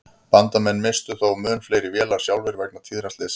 Bandamenn misstu þó mun fleiri vélar sjálfir vegna tíðra slysa.